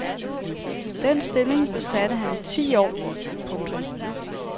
Den stilling besatte han i ti år. punktum